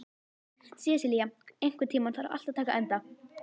Sesilía, einhvern tímann þarf allt að taka enda.